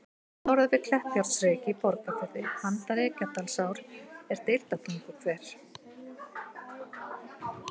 Rétt norðan við Kleppjárnsreyki í Borgarfirði, handan Reykjadalsár, er Deildartunguhver.